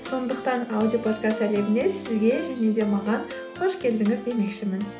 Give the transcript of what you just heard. сондықтан аудиоподкаст әлеміне сізге және де маған қош келдіңіз демекшімін